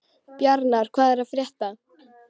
Bjarnar, hvað er að frétta?